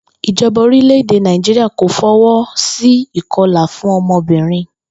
Ìjo̩ba orílè̩-èdè Nàìjíríà kò fo̩wó̩ sí ìko̩là fún o̩mo̩bìnrin